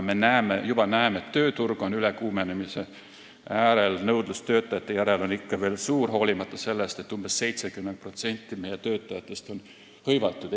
Me näeme juba, et tööturg on ülekuumenemise äärel, nõudlus töötajate järele on ikka veel suur, hoolimata sellest, et umbes 70% meie töötajatest on hõivatud.